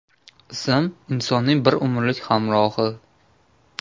Ism – insonning bir umrlik hamrohi.